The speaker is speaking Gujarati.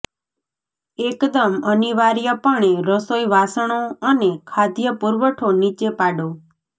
એકદમ અનિવાર્યપણે રસોઈ વાસણો અને ખાદ્ય પુરવઠો નીચે પાડો